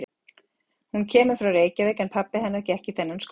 Hún kemur frá Reykjavík en pabbi hennar gekk í þennan skóla.